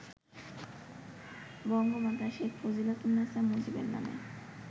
বঙ্গমাতা শেখ ফজিলাতুন্নেসা মুজিবের নামে